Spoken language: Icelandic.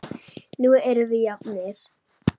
Nú erum við jafnir.